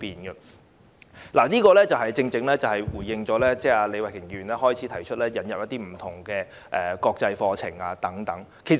這一點正好呼應李慧琼議員在辯論開始時建議引入不同國際課程的意見。